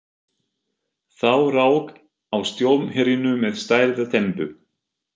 Þá rak á stormhrinu með stærðar dembu.